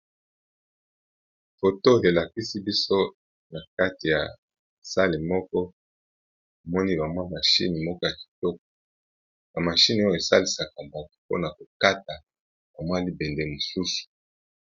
Photo elakisi biso na kati ya sale moko omoni bamwa mashine moko ya kitoko bamashine oyo esalisaka banko mpona kokata bamwa libende mosusu.